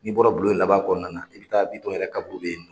N'i bɔra bulon in laban kɔnɔna na i bɛ taa Bitɔn yɛrɛ kaburu de